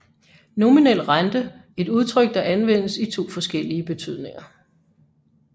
Nominel rente et udtryk der anvendes i to forskellige betydninger